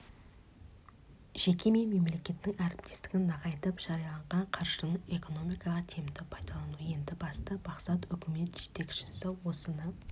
жеке мен мемлекеттің әріптестігін нығайтып жарияланған қаржыны экономикаға тиімді пайдалану енді басты мақсат үкімет жетекшісі осыны